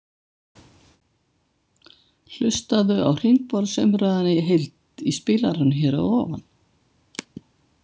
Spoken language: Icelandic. Hlustaðu á hringborðsumræðuna í heild í spilaranum hér að ofan.